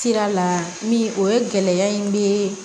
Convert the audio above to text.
Sira la min o ye gɛlɛya in bɛ